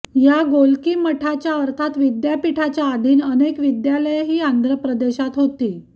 या गोलकी मठाच्या अर्थात् विद्यापिठाच्या आधीन अनेक विद्यालये ही आंध्रप्रदेशात होती